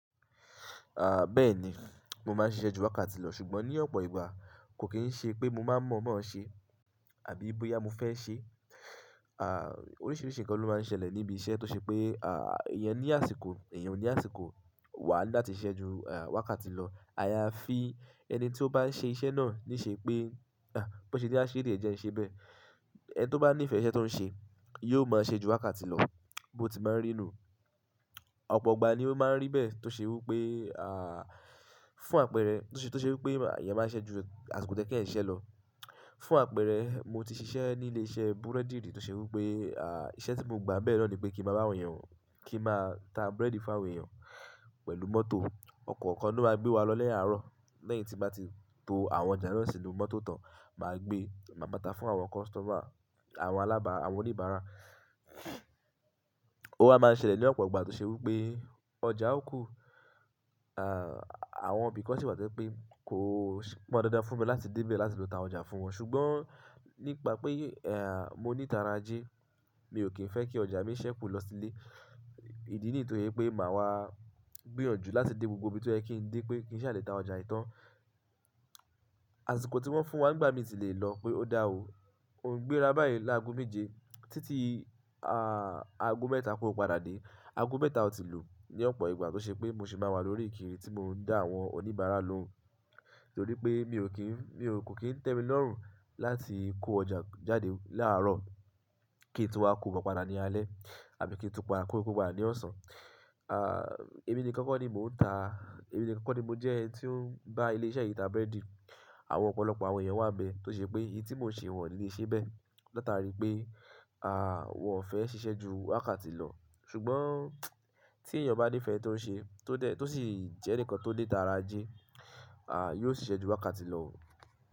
À, bẹ́ẹ̀ni, mo má n ṣiṣẹ́ ju wákàtí lọ ṣùgbọ́n ní ọ̀pọ̀ ìgbà kò kí n ṣe pé mo má mọ̀ bó ṣé àbí bóyá mo fẹ́ ṣé. À, oríṣiríṣi nǹkan ló má n ṣẹlẹ̀ níbi iṣẹ́ tó ṣe pé, à, èèyàn ní àsìkò, èèyàn ní àsìkò wà láti ṣẹ ju, à, wákàtí lọ. A ya fí ẹni tí ó bá n ṣe iṣẹ́ náà ní ṣe pé, à, bó ṣe ni a ṣe niyen jẹ́ n ṣe bẹ́ẹ̀. Ẹni tó bá nífẹ̀ẹ́ iṣẹ́ tó n ṣe yóò má ṣẹ ju wákàtí lọ. Bo ti má n rí nù. Ọ̀pọ̀ ìgbà ni ó má n rí bẹ́ẹ̀ tó ṣe wí pé, à, fún àpẹẹrẹ, tó ṣe wí pé à, èèyàn má ṣẹ ju àsìkò toye ki eniya siṣẹ́ lọ. Fún àpẹẹrẹ, mo ti ṣiṣẹ́ ní ilé iṣẹ́ búrẹ́dììrì tó ṣe wí pé, à, iṣẹ́ tí mo gba bẹ́ẹ̀ lọ ní pé kí n má bá àwọn èèyàn, kí n má ta búrẹ́dì fún àwọn èèyàn pẹ̀lú mọ́tò. Ọ̀kọ̀ọ̀kan ló má gbé wa lọ lẹ́yìn àárọ̀ lẹ́yìn tí a bá ti to àwọn ọjà náà sínú mọ́tò tán. Má gbé, má bàtà fún àwọn kọ́sítọ́mà, àwọn alábàá, àwọn oníbàárà. Ó má n ṣẹlẹ̀ ní ọ̀pọ̀ ìgbà tó ṣe wí pé ọjà ó kù, à, àwọn bí kọ̀sìpà tẹ́ pé kò pon dandan fún mi láti dé ibẹ̀ láti lọ ta ọjà fún wọn ṣùgbọ́n nípa pé, ẹ́ẹ̀, mo ní tara ajẹ́ mi ò kí n fẹ́ kí ọjà mi ṣẹ́ kù lọ sílé. Ìdí nì to pé màá wá gbìyànjú láti dé gbogbo ibi tó ẹ kí n dé pé kí n ṣàlétà ọjà ìtàn. Àsìkò tí wọ́n fún wa nígbà mí ti lè lọ pé ó dá o O n gbéra báyìí láàgo méje títí, à, a aago mẹ́ta kó padà dé. Aago mẹ́ta ó ti lù ní ọ̀pọ̀ ìgbà tó ṣe pé mo sì má wà lórí ìkiri tí mo n dá àwọn oníbàárà lóhùn. Nítorí pé mi ò kí n, mi ò kí n tẹ́mi lọ́rùn láti kó ọjà jáde láàárọ̀ kí n tún wá kó wọn padà ní alẹ́ àbí kí n tún padà kó wọn kó padà ní ọ̀sán. À, èmi nìkan kọ́ ni mò n ta, èmi nìkan kọ́ ni mo jẹ́ ẹni tí ó n bá ilé iṣẹ́ yìí ta búrẹ́dì. Àwọn ọ̀pọ̀lọpọ̀ àwọn èèyàn wà bẹ́ẹ̀ tó ṣe pé èyí tí mò ń ṣe wọ́n ò ní lè ṣe bẹ́ẹ̀. Látàrí pé, à, wọn ò fẹ́ ṣiṣẹ́ ju wákàtí lọ ṣùgbọ́n tí èèyàn bá nífẹ̀ẹ́ tó ń ṣe tó dẹ́, tó sì jẹ́ ǹkan tó le tara jẹ́, à, yóò ṣiṣẹ́ ju wákàtí lọ.